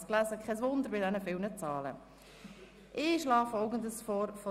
Ich schlage Ihnen folgendes Abstimmungsprozedere vor: